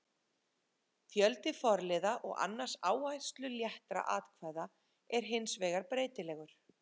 Fjöldi forliða og annarra áhersluléttra atkvæða er hins vegar breytilegur.